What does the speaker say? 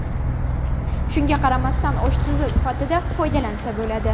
Shunga qaramasdan osh tuzi sifatida foydalansa bo‘ladi.